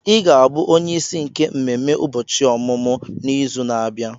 I ga-abụ onyeisi nke mmemme ụbọchị ọmụmụ n'izu na-abịa.